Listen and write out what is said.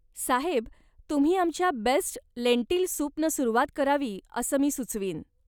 साहेब, तुम्ही आमच्या best lentil सूपनं सुरुवात करावी असं मी सुचवीन.